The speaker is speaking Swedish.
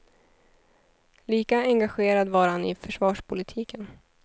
Lika engagerad var han i försvarspolitiken.